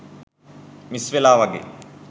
miss වෙලා වගේ